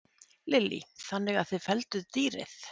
Lillý: Þannig að þið fellduð dýrið?